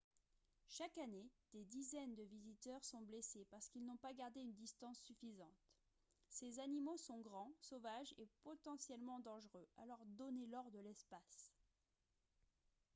chaque année des dizaines de visiteurs sont blessés parce qu'ils n'ont pas gardé une distance suffisante ces animaux sont grands sauvages et potentiellement dangereux alors donnez-leur de l'espace